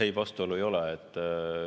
Ei, vastuolu ei ole.